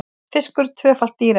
Fiskur tvöfalt dýrari